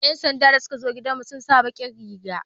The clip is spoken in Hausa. yan sanda da suka zo gidan mu sun sa bakin Riga